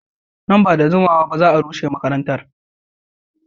Nan ba da jimawa ba za a rushe makarantar.